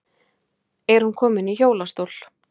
Er hún komin í hjólastól?